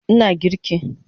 Ina girki